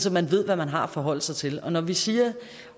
at man ved hvad man har at forholde sig til og når vi siger